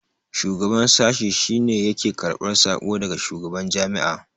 shugaban sashi shi ne yake karbar sako daga shugaban Jami'a